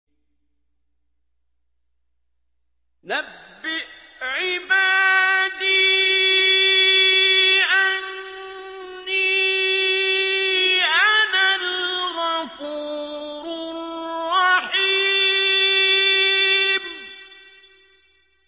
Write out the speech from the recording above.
۞ نَبِّئْ عِبَادِي أَنِّي أَنَا الْغَفُورُ الرَّحِيمُ